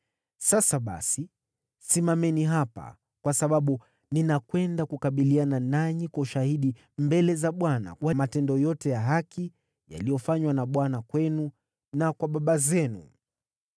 Sasa basi, simameni hapa, kwa sababu nitakabiliana nanyi kwa ushahidi mbele za Bwana wa matendo yote ya haki yaliyofanywa na Bwana kwenu na kwa baba zenu.